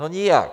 No, nijak.